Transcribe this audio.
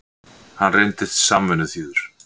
Hann reyndist samvinnuþýður.